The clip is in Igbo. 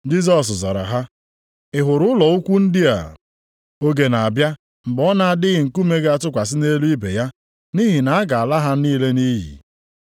Jisọs zara ha, “Ị hụrụ ụlọ ukwu ndị a? Oge na-abịa mgbe ọ na-adịghị nkume ga-atụkwasị nʼelu ibe ya, nʼihi na a ga-ala ha niile nʼiyi.”